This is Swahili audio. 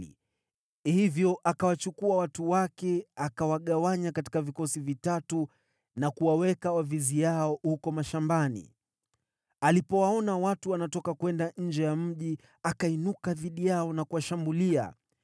Hivyo akawachukua watu wake, akawagawanya katika vikosi vitatu na kuwaweka waviziao huko mashambani. Alipowaona watu wanatoka kwenda nje ya mji, akainuka dhidi yao na kuwashambulia.